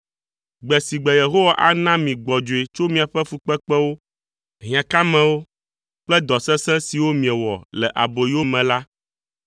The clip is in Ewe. Gbe si gbe Yehowa ana mi gbɔdzɔe tso miaƒe fukpekpewo, hiãkamewo kple dɔ sesẽ siwo miewɔ le aboyo me la,